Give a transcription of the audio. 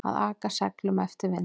Að aka seglum eftir vindi